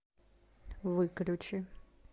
выключи